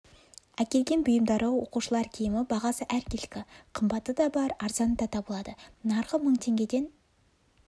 әкелген бұйымдары оқушылар киімі бағасы әркелкі қымбаты да бар арзаны да табылады нарқы мың теңгеден